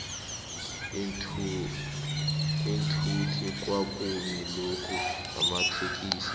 iinthuthi kwa kuma lonki namatsikixi